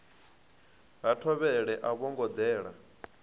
ha thovhele a vhongo dela